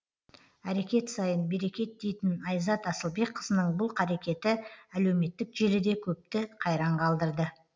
әрекет сайын берекет дейтін айзат асылбекқызының бұл қарекеті әлеуметтік желіде көпті қайран қалдырды